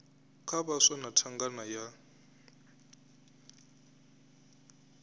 kha vhaswa na thangana ya